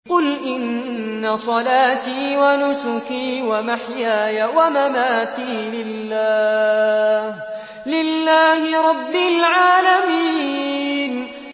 قُلْ إِنَّ صَلَاتِي وَنُسُكِي وَمَحْيَايَ وَمَمَاتِي لِلَّهِ رَبِّ الْعَالَمِينَ